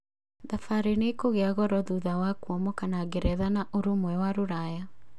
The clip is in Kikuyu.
Thabarĩ nĩikũgia goro thutha wa kuumokana ngeretha na Ũrũmwe wa Rũraya